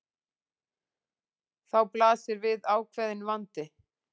Þá blasir við ákveðinn vandi.